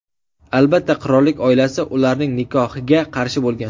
Albatta, qirollik oilasi ularning nikohiga qarshi bo‘lgan.